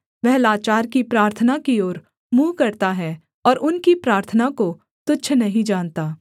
वह लाचार की प्रार्थना की ओर मुँह करता है और उनकी प्रार्थना को तुच्छ नहीं जानता